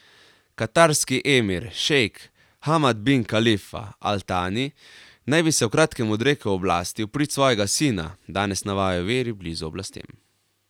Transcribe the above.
Katarski emir, šejk Hamad bin Kalifa al Tani naj bi se v kratkem odrekel oblasti v prid svojega sina, danes navajajo viri blizu oblastem.